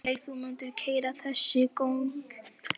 Sólveig: Þú mundir keyra þessi göng óttalaus með þitt fólk?